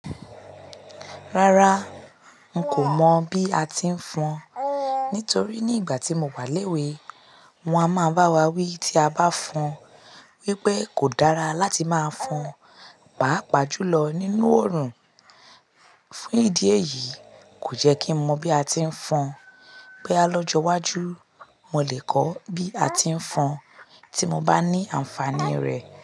Rárá, n kò mọ̀ bí a ti ń fọn nitorí ní ìgbà tí mo wà léwe, wón a máa ń bá wa wí tí a bá fọn wípé kò dára láti máa fọn, pàápàá jùlọ nínú oòrùn. Fún ìdí èyí, kò jẹ́ kí mọ bí a ti ń fọn. Bóyá lọ́jọ́ wájú, mo lè kọ́ bí a ti ń fọn tí mo bá ní àǹfàní rẹ̀